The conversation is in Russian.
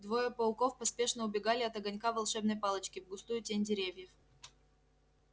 двое пауков поспешно убегали от огонька волшебной палочки в густую тень деревьев